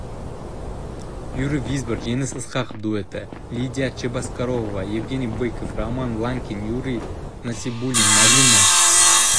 юрий визбор жеңіс ысқақов дуэті лидия чебоксарова мен евгений быков роман ланкин юрий насыбуллин марина